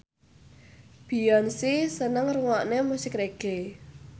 Beyonce seneng ngrungokne musik reggae